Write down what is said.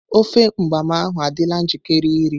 Ofe mgbam ahu adịla njikere iri.